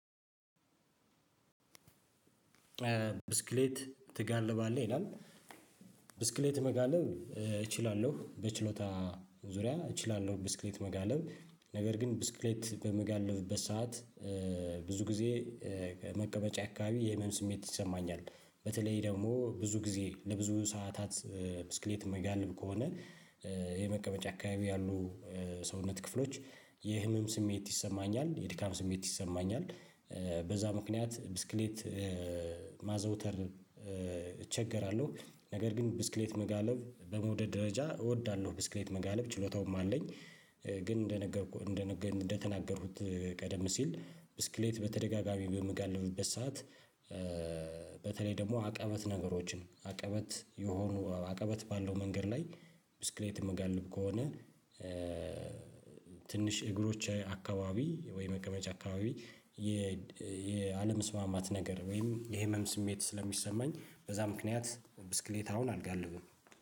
ብስክሌት ትጋልባለህ ይላል? ብስክሌት መጋለብ እችላለሁ በችሎታ ዙሪያ እችላለሁ። ብስክሌት መጋለብ ነገር ግን ብስክሌት በምጋልፍበት ሰዓት ብዙ ጊዜ መቀመጫ አካባቢ የህመም ስሜት ይሰማኛል። በተለይ ደግሞ ብዙ ጊዜ ለብዙ ሰዓታት ብስክሌት የሚጋልብ ከሆነ የመቀመጫ አካባቢ ያሉ ሰውነት ክፍሎች የህመም ስሜት ይሰማኛል የድካም ስሜት ይሰማኛል። በዛ ምክንያት ብስክሌት ማዘውተር እቸገራለሁ። ነገር ግን ብስክሌት መጋለብ በመውደድ ደረጃ እወዳለሁ ብስክሌት መጋለብ ችሎታውም አለኝ። ግን እንደነገርኩህ እንደነገርኩህ እንደተናገሩት ቀደም ሲል ብስክሌት በተደጋጋሚ በምጋልብበት ሰዓት። በተለይ ደግሞ አቅበት ነገሮችን አቀበት የሆኑ አቀበት ባለው መንገድ ላይ ብስክሌት የምጋልብ ከሆነ ትንሽ እግሮች አካባቢ ወይ መቀመጫ አካባቢ። የአለመስማማት ነገር ወይም የህመም ስሜት ስለሚሰማኝ በዛ ምክንያት ብስክሌት አሁን አልጋ አለው